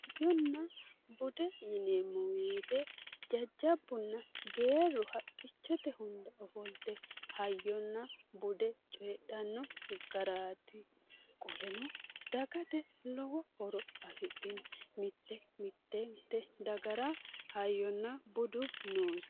Hayyonna bude yineemmo woyte jajjabbunna Geerru haqichote hunda ofollite hayyonna bude coyidhano garati, qoleno dagate lowo horo afidhino mite mitete dagara hayyonna budu noose.